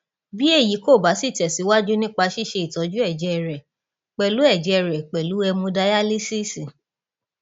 bí èyí kò bá sí tẹsíwájú nípa ṣíṣe ìtọjú ẹjẹ rẹ pẹlú ẹjẹ rẹ pẹlú hẹmodayalísíìsì